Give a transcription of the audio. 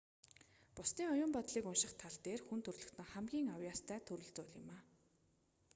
бусдын оюун бодлыг унших тал дээр хүн төрөлхтөн хамгийн авьяастай төрөл зүйл юм